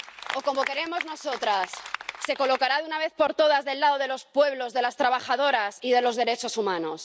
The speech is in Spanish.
O, como queremos nosotras, ¿se colocará de una vez por todas del lado de los pueblos, de las trabajadoras y de los derechos humanos?